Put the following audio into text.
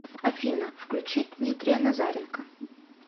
афина включи дмитрия назаренко